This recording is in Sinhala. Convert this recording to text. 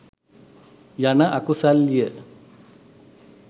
යන අකුසල්ය.